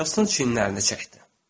Herston çiyinlərini çəkdi.